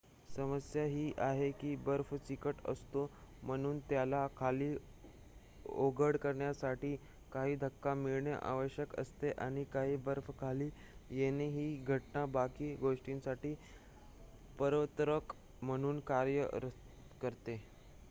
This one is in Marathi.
समस्या ही आहे की बर्फ चिकट असतो म्हणून त्याला खाली ओघळ करण्यासाठी काही धक्का मिळणे आवश्यक असते आणि काही बर्फ खाली येणे ही घटना बाकी गोष्टींसाठी प्रवर्तक म्हणून कार्य करते